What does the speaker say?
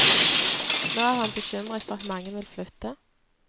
Nå er han bekymret for at mange vil flytte.